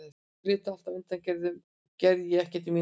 Ef þau létu alltaf undan gerði ég ekkert í mínum málum.